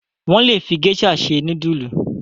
Wọ́n le fi géíṣà se núdúlù.